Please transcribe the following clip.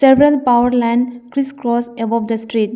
several powerland crisscross above the street.